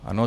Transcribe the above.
Ano.